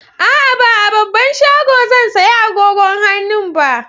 A'a, ba a babban shago zan saya agogon hannun ba.